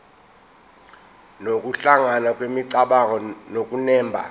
nokuhlangana kwemicabango nokunemba